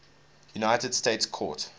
united states court